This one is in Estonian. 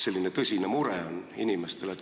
Selline tõsine mure on inimestel.